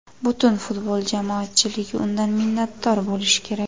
Butun futbol jamoatchiligi undan minnatdor bo‘lishi kerak.